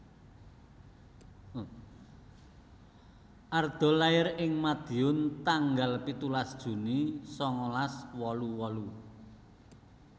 Arda lair ing Madiun tanggal pitulas Juni sangalas wolu wolu